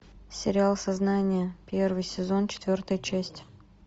сериал сознание первый сезон четвертая часть